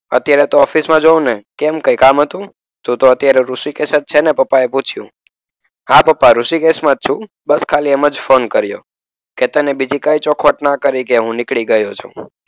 અત્યારે તો ઓફિસમાં જ હોઉં ને. કેમ કંઈ કામ હતું? તું તો અત્યારે ઋષિકેશ જ છે ને? પપ્પાએ પૂછ્યું. હા પપ્પા ઋષિકેશમાં જ છું. બસ ખાલી એમ જ ફોન કર્યો. કેતને બીજી કઈ ચોખવટ ન કરી કે હું નીકળી ગયો છું.